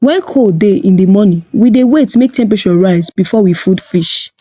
when cold dey in the morning we dey wait make temperature rise before we food fish